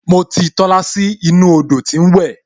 Mo ti Tola sínú odò tí ń wẹ